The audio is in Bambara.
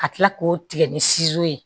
Ka kila k'o tigɛ ni ye